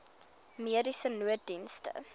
mediese nooddienste